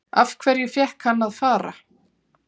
Af hverju fékk hann að fara?